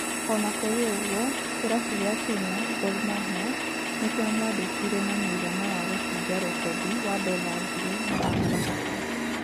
Ona kũrĩ uguo kĩrabu kĩa Kenya Gor Mahia nĩkĩamwandĩkire na mũigana wa gũbũja rekodi wa dola ngiri magana matatũ